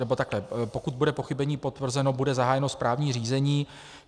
Nebo takhle: Pokud bude pochybení potvrzeno, bude zahájeno správní řízení.